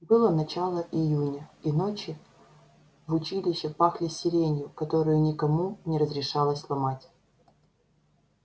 было начало июня и ночи в училище пахли сиренью которые никому не разрешалось ломать